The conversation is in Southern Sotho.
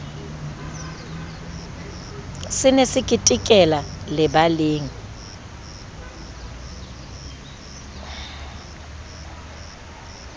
se ne se ketekela lebaleng